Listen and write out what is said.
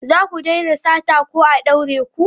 Za ku daina sata ko a daure ku!